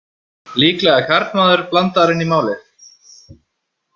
Líklega er karlmaður blandaður inn í málið.